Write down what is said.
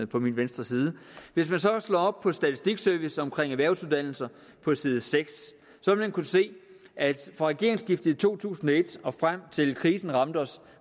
på min venstre side hvis man så slår op på statistikservice om erhvervsuddannelser på side seks vil man kunne se at fra regeringsskiftet i to tusind og et og frem til krisen ramte os